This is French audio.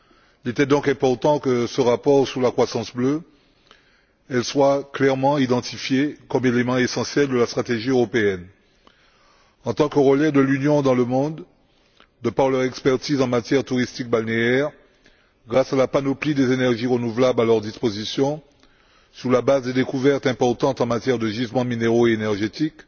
Il était donc important que, dans ce rapport sur la croissance bleue, celles ci soient clairement identifiées comme élément essentiel de la stratégie européenne, en tant que relais de l'Union dans le monde, de par leur expertise en matière touristique balnéaire, grâce à la panoplie des énergies renouvelables à leur disposition, sur la base des découvertes importantes en matière de gisements minéraux et énergétiques.